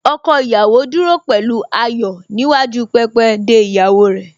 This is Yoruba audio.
Ọkọ ìyàwó dúró pẹ̀lú ayọ̀ níwájú pẹpẹ de ìyàwó rẹ̀